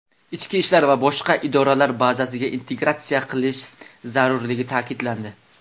ichki ishlar va boshqa idoralar bazasiga integratsiya qilish zarurligi ta’kidlandi.